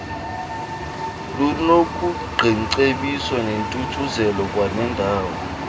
lunokuqiingcebiso nentuthuzelo kwanendawo